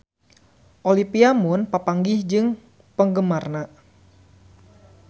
Olivia Munn papanggih jeung penggemarna